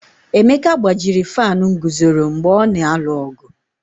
Emeka gbajiri fanụ nguzoro mgbe ọ na-alụ ọgụ.